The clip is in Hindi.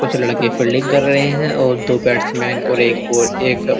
कुछ लड़के फील्डिंग कर रहे हैं और दो बेट्समैन और एक बॉल एक --